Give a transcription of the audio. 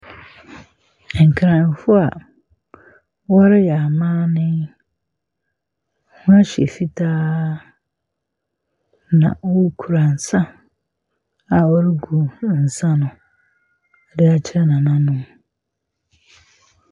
Nkranfoɔ a wɔreyɛ amanne. Wɔahyɛ fitaa, na wɔkura nsa a wɔregu nsa no de akyerɛ nananom.